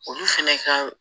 Olu fɛnɛ ka